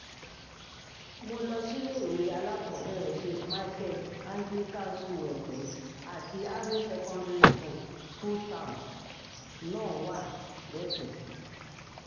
mo lọ síléèwé alákọ̀ọ́bẹ̀rẹ̀ saint micheala anglican school èpè àti secondary school tóun náà wà lẹ́pẹ́